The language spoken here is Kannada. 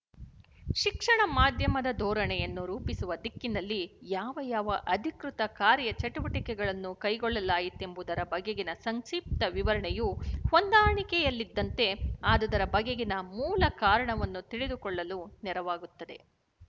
ಶಿಕ್ಷಣ ಮಾಧ್ಯಮದ ಧೋರಣೆಯನ್ನು ರೂಪಿಸುವ ದಿಕ್ಕಿನಲ್ಲಿ ಯಾವ ಯಾವ ಅಧಿಕೃತ ಕಾರ್ಯಚಟುವಟಿಕೆಗಳನ್ನು ಕೈಗೊಳ್ಳಲಾಯಿತೆಂಬುದರ ಬಗೆಗಿನ ಸಂಕ್ಶಿಪ್ತ ವಿವರಣೆಯು ಹೊಂದಾಣಿಕೆಯಲ್ಲಿದ್ದಂತೆ ಆದುದರ ಬಗೆಗಿನ ಮೂಲಕಾರಣವನ್ನು ತಿಳಿದುಕೊಳ್ಳಲು ನೆರವಾಗುತ್ತದೆ